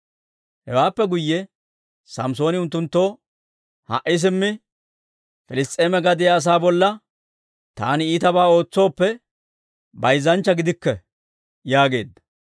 Hewaappe guyye Samssooni unttunttoo, «Ha"i simmi Piliss's'eema gadiyaa asaa bolla taani iitabaa ootsooppe, bayzzanchcha gidikke» yaageedda.